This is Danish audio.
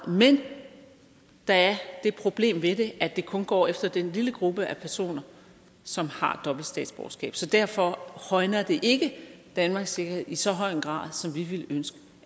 men der er det problem ved det at det kun går efter den lille gruppe af personer som har dobbelt statsborgerskab så derfor højner det ikke danmarks sikkerhed i så en høj grad som vi ville ønske